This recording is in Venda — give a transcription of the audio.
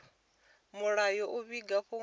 mulayo u vhiga fhungo ilo